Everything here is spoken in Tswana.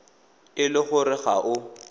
e le gore ga o